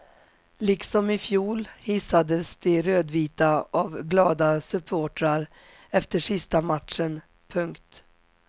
Liksom i fjol hissades de rödvita av glada supportrar efter sista matchen. punkt